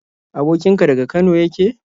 Abokin ka daga Kano yake?